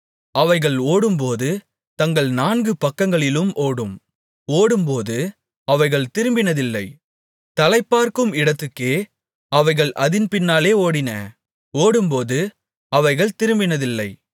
அவைகள் ஓடும்போது தங்கள் நான்கு பக்கங்களிலும் ஓடும் ஓடும்போது அவைகள் திரும்பினதில்லை தலைப்பார்க்கும் இடத்துக்கே அவைகள் அதின் பின்னாலே ஓடின ஓடும்போது அவைகள் திரும்பினதில்லை